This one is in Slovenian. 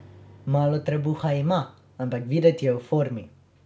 Malo trebuha ima, ampak videti je v formi.